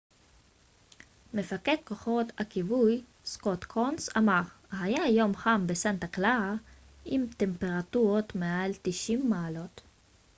מפקד כוחות הכיבוי סקוט קונס אמר היה יום חם בסנטה קלרה עם טמפרטורות מעל 90 מעלות